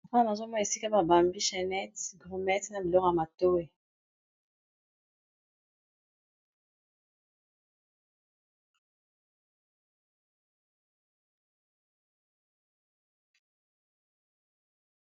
Mapaa na azomona esika ba bambi chenet grümet na bilor ya matoe.